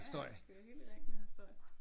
Ja ja det kører helt i ring det her støj